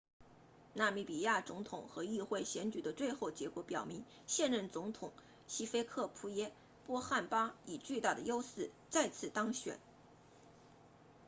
纳米比亚 namibian 总统和议会选举的最后结果表明现任总统希菲克普耶波汉巴 hifikepunye pohamba 以巨大的优势再次当选